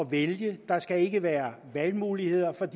vælge der skal ikke være valgmuligheder for